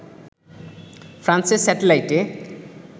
ফ্রান্সের স্যাটেলাইটে